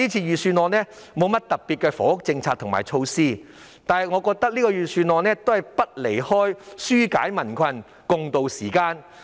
預算案沒有特別的房屋政策和措施，但我認為預算案離不開紓解民困，共渡時艱。